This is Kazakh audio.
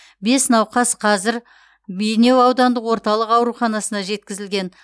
бес науқас қазір бейнеу аудандық орталық ауруханасына жеткізілген